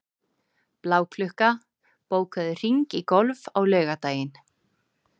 Bláklukka, bókaðu hring í golf á laugardaginn.